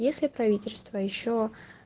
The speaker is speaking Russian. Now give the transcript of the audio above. если правительство ещё